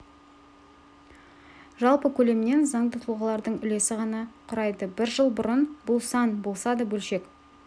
жалпы көлемінен заңды тұлғалардың үлесі ғана құрайды бір жыл бұрын бұл сан болса да бөлшек